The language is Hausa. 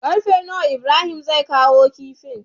Karfe nawa Ibrahim zai kawo kifin?